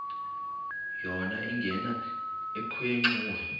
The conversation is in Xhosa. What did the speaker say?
yona ingena ekhwenxua